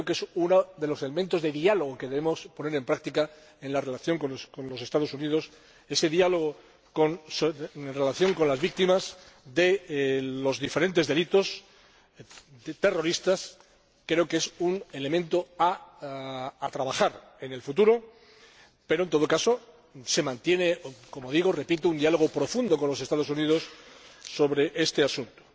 Creo que es uno de los segmentos de diálogo que debemos poner en práctica en la relación con los Estados Unidos. Creo que ese diálogo en relación con las víctimas de los diferentes delitos terroristas es un elemento sobre el que hay que trabajar en el futuro, pero, en todo caso, se mantiene, como digo, un diálogo profundo con los Estados Unidos sobre este asunto.